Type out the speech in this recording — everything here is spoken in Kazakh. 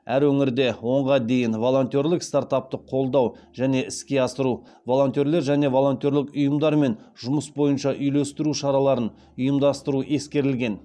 әр өңірде онға дейін волонтерлік стартапты қолдау және іске асыру волонтерлер және волонтерлік ұйымдармен жұмыс бойынша үйлестіру шараларын ұйымдастыру ескерілген